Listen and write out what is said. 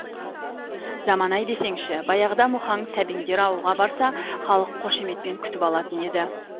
заман ай десеңші баяғыда мұхаң сәбеңдер ауылға барса халық қошеметпен күтіп алатын еді